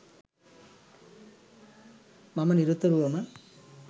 මම නිරතුරවම